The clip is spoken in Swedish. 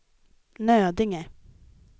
Nödinge